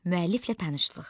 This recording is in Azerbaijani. Müəlliflə tanışlıq.